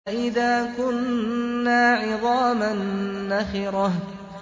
أَإِذَا كُنَّا عِظَامًا نَّخِرَةً